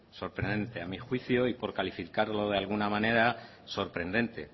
sorprendente a mi juicio y por calificarlo de alguna manera sorprendente